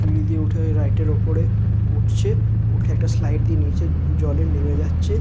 সিঁড়ি দিয়ে উঠে ওই রাইড -এর ওপরে উঠছেউঠে একটা স্লাইড দিয়ে নিচে জল-এ নেমে যাচ্ছে।